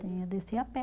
Tinha, descia a pé.